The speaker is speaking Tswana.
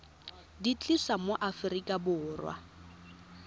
di tlisa mo aforika borwa